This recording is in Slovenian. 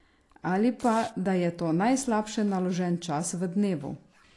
Ali pa, da je to najslabše naložen čas v dnevu?